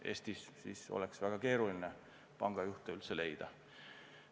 Eestis oleks siis väga keeruline pangajuhte üldse leida.